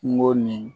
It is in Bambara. Kungo nin